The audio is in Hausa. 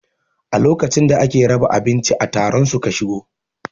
A lokacin da ake raba abinci a taron su ka shigo